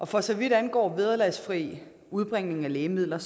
for så vidt angår vederlagsfri udbringning af lægemidler